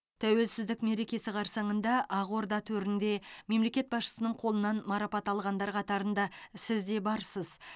тәуелсіздік мерекесі қарсаңында ақорда төрінде мемлекет басшысының қолынан марапат алғандар қатарында сіз де барсыз